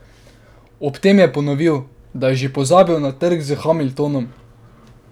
Ob tem je ponovil, da je že pozabil na trk s Hamiltonom.